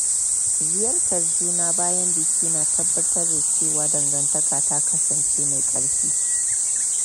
Ziyartar juna bayan biki na tabbatar da cewa dangantaka ta kasance mai ƙarfi.